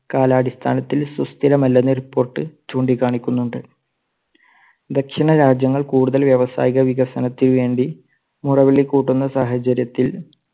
കാല അടിസ്ഥാനത്തിൽ സുസ്ഥിരമല്ലെന്ന് report ചൂണ്ടി കാണിക്കുന്നുണ്ട്. ദക്ഷിണ രാജ്യങ്ങൾ കൂടുതൽ വ്യാവസായിക വികസനത്തിനു വേണ്ടി മുറവിളി കൂട്ടുന്ന സാഹചര്യത്തിൽ